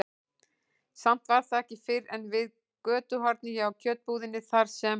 Samt var það ekki fyrr en við götuhornið hjá kjötbúðinni, þar sem